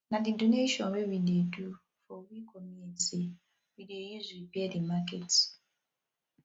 na di donation wey we do for we community we dey use repair di market